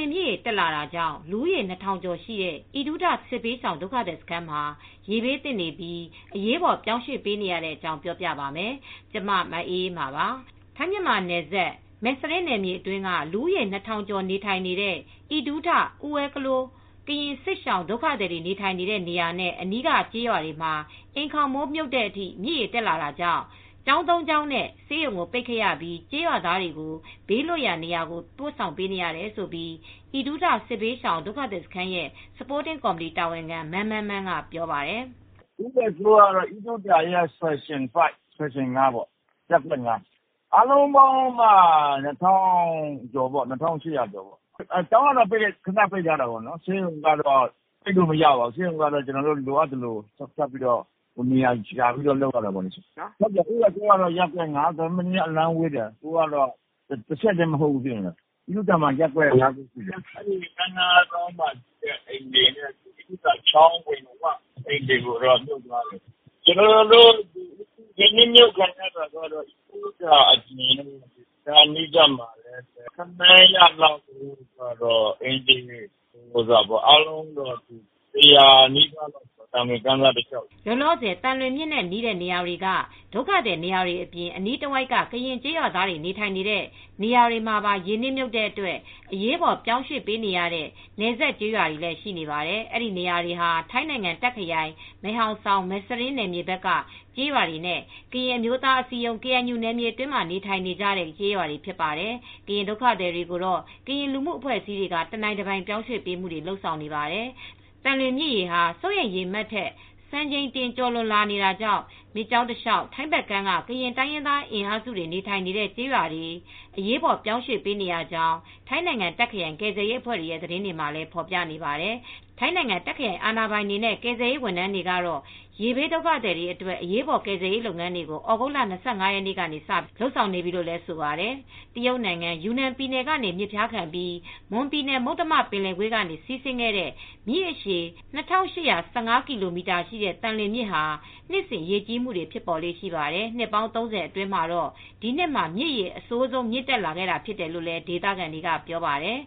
င်မြစ်ရေ တက်လာတာကြောင့် လူဦးရေ ၂,၀၀၀ ကျော် ရှိတဲ့ အီဒူးထစစ်ဘေးရှောင်ဒုက္ခသည်စခန်းမှာ ရေဘေးသင့်နေပြီး အရေးပေါ် ပြောင်းရွှေ့ပေးနေရတဲ့အကြောင်းပြောပြပါမယ်။ ဗွီအိုအေမြန်မာပိုင်းသတင်းထောက် မအေးအေးမာက တင်ပြပေးထားပါတယ်။ ထိုင်းမြန်မာနယ်စပ် မယ်စရင်း နယ်မြေအတွင်းက လူဦးရေ ၂,၀၀၀ကျော် နေထိုင်နေကြတဲ့အီဒူးထ Uwagol ကရင်စစ်ရှောင် ဒုက္ခသည်နေထိုင်နေကြတဲ့ နေရာနဲ့ အနီးကကျေးရွာတွေ မှာ အိမ်ခေါင်းမိုးမြုပ်တဲ့အထိ မြစ်ရေတက်လာနေတာကြေင့် ကျောင်းသုံးကျောင်း နဲ့ ဆေးရုံကို ပိတ်ခဲ့ရပြီး ကျေးရွာသားတွေကို ဘေးလွတ်ရာနေရာဆီ ပို့ဆောင်ပေးနေရတယ်လို့ အီဒူးထ စစ်ရှောင်ဒုက္ခသည်စခန်းရဲ့ Supporting Committee တာဝန်ခံ မန်းမန်းမန်းကဆိုပါတယ်။ "အူးဝါကလိုးက အီဒူးထက ရပ်ကွက် ၅ပေါ့၊ အားလုံးပေါင်း ၂,၈၀၀ ကျော်ရှိတယ်။ ကျောင်းက ပိတ်လိုက်ရတယ်။ ဆေးရုံကတော့ ပိတ်လို့ မရဘူး။ ဆေးရုံးက ကျနော်တို့က လိုအပ်သလို နေရာရှာပြီး လုပ်နေရတယ်။ အီဝါကလိုးက အီဒူးထနဲ့ နည်းနည်းအလှမ်းဝေးတယ်။ အီဒူးထက ရက်ကွက် ၅ ခုရှိတယ်။ ကမ်းနားအိမ်ခြေတွေ ရေနစ်မြုပ်တာ အီဒူးထအပြင် သံလွင်ကမ်းတလျှောက်အိမ်ခြေ ၁၀၀ လောက်ရေနစ်မြုပ်တယ်။ သံလွင်ကမ်းစပ်တလျှောက်မှာပေါ့။" လောလောဆယ် သံလွင်မြစ်နဲ့ နီးတဲ့နေရာတွေက ဒုက္ခသည်တွေနေရာတွေအပြင်အနီးတဝိုက်က ကရင်ကျေးရွာသားတွေ နေထိုင်နေတဲ့နေရာတွေမှာရေနစ်မြုပ်လို့ အရေးပေါ်ပြောင်းရွှေ့နေရတဲ့ နယ်စပ်ကျေးရွာတွေလည်း ရှိနေပါတယ်။ အဲဒီနေရာတွေဟာ ထိုင်းနိုင်ငံ တပ်ခရိုင် မဲဟောင် ဆောင်မဲစရင်းဘက်က ကျေးရွာတွေနဲ့ ကရင်အမျိုးအသားအစည်းရုံး KNU နယ်မြေအတွင်းမှာ နေထိုင်နေကြတဲ့ ကျေးရွာတွေဖြစ်ပါတယ်။ ကရင်ဒုက္ခသည်တွေကိုတော့ ကရင်လူမှုအဖွဲ့အစည်းတွေက တနိုင်တပိုင်ပြောင်းရွှေ့ပေးမှုတွေ လုပ်နေပါတယ်။ သံလွင်မြစ်ရေဟာ စိုးရိမ်ရေ မှတ်ထက်စံချိန်တင် ကျော်လွန်လာနေတာကြောင် မြစ်ကြောင်းတစ်လျှောက် ထိုင်းဘက်ကမ်းက ကရင်တိုင်းရင်းသား အင်အားစု နေထိုင်နေတဲ့ ကျေးရွာတွေ အရေးပေါ် ပြောင်းရွှေ့နေရကြောင်း ထိုင်းနိုင်ငံတာခ့်ခရိုင် ကယ်ဆယ်ရေး အဖွဲ့ တွေရဲ့ သတင်းတွေမှာဖေါ်ပြနေပါတယ်။ ထိုင်းနိုင်ငံ တပ်ခရိုင် အာဏာပိုင်တွေနဲ့ ကယ်ဆယ်ရေးဝန်ထမ်းတွေကတော့ ရေဘေးဒုက္ခ သည်တွေအတွက် အရေးပေါ်ကယ်ဆယ်ရေး လုပ်ငန်းတွေကို သြဂုတ်လ ၂၅ရက်နေ့ကစပြီးလုပ်ဆောင်နေပြီလိုလည်း ဆိုပါတယ်။ တရုတ်နိုင်ငံ ယူနန် ပြည်နယ်ကနေ မြစ်ဖျားခံပြီး မွန်ပြည်နယ်မုတ္တမ ပင်လယ်ကွေ့အတွင်းစီးဝင်ခဲ့တဲ့မြစ်အရှည် (၂,၈၁၅ ကီလိုမီတာ)ရှိတဲ့ သံလွင်မြစ်ဟာ နှစ်စဉ် ရေကြီးမှုတွေ ဖြစ်ပေါ်လေ့ရှိပါတယ်။ နှစ်ပေါင်း ၃၀ အတွင်းမှာတော့ ဒီနှစ်မှာမြစ်ရေ အဆိုးဆုံး မြင့်တက်လာခဲ့တာဖြစ်လို့လည်း ဒေသခံတွေကပြောပါတယ်